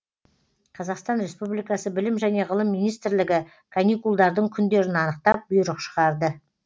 қазақстан республикасы білім және ғылым министрлігі каникулдардың күндерін анықтап бұйрық шығарды